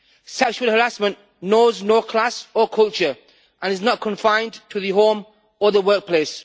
Sexual harassment knows no class or culture and is not confined to the home or the workplace.